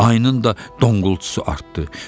Ayının da donqultusu artdı.